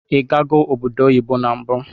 Igago obodo oyibo na mbu?